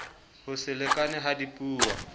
ho se lekane ha dipuo